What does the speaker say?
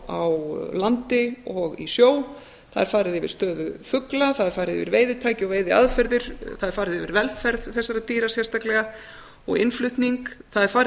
á landi og í sjó það er farið yfir stöðu fugla það er farið yfir veiðitæki og veiðiaðferðir það er farið yfir velferð þessara dýra sérstaklega og innflutning það er farið